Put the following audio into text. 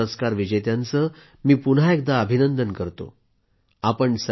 सर्व पद्म पुरस्कार विजेत्यांचे मी पुन्हा एकदा अभिनंदन करतो